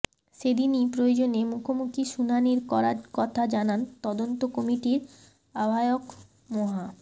সেদিনই প্রয়োজনে মুখোমুখি শুনানির করার কথা জানান তদন্ত কমিটির আহ্বায়ক মোহা